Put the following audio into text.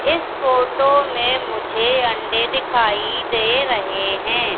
इस फोटो में मुझे अंडे दिखाई दे रहे हैं।